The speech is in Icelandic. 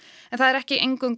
það er ekki eingöngu